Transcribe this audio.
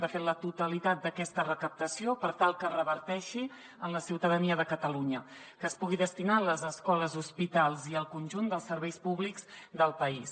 de fet la totalitat d’aquesta recaptació per tal que reverteixi en la ciutadania de catalunya que es pugui destinar a les escoles hospitals i al conjunt dels serveis públics del país